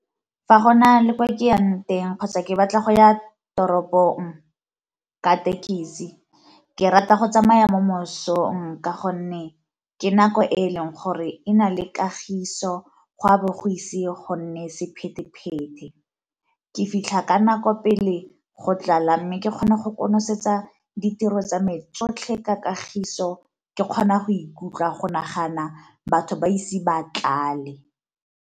Fa go na le kwa ke yang teng kgotsa ke batla go ya toropong ka thekisi ke rata go tsamaya mo mosong ka gonne ke nako e e leng gore e na le kagiso gwa bogosi go nne sephete-phete, ke fitlha ka nako pele go tlala mme ke kgona go konosetsa ditiro tsa me yotlhe ka kagiso ke kgona go ikutlwa go nagana batho ba ise ba tlale.